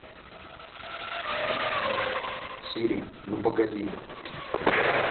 сири ну погоди